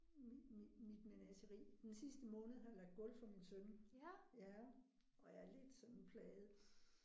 Mit menageri. Den sidste måned har jeg lagt gulv for min søn. Ja. Og er lidt sådan plaget